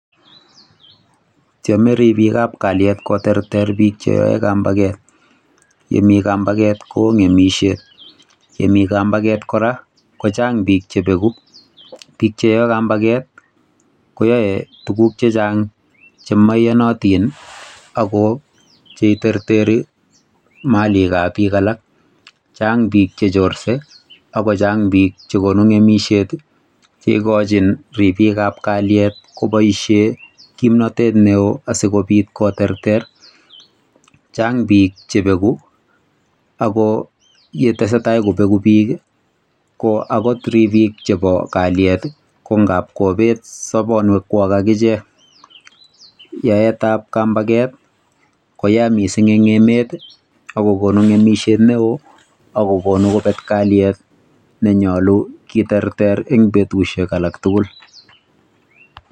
Tyeme ribik ab kalyet koterter biik che how kambaket, yemi kambaket koo ngemisiet, ngemi kambaket kora kochang biik che beku, bik cheyoe kambaket koyoe tuguk chechang che mo iyonotin, ako che itereteri Malik ab bik alak, Chang bik che chorse ako Chang bik che konu ngemisiet, che ikochin ribik ab kalyet ko boisien kimnotet neoo asikobit koterter, Chang bik che beku Ako ye tesetai kobeku bik ko akot ribik ab kalyet ko ngab kobet sobonwek kwak akichek, yaet ab kambaket koya mising eng emet ii ako konu ngemisiet neoo ako konu kobet kalyet lenyolu kiterter eng sait ake tukul.